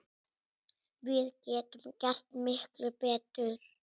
Við getum gert miklu betur!